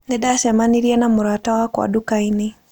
Nĩ ndacemanirie na mũrata wakwa nduka-inĩ.